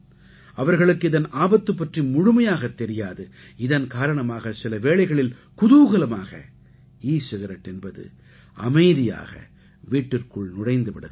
அவர்களுக்கு இதன் ஆபத்து பற்றி முழுமையாகத் தெரியாது இதன் காரணமாக சில வேளைகளில் குதூகலமாக ஈ சிகரெட் என்பது அமைதியாக வீட்டிற்குள் நுழைந்து விடுகிறது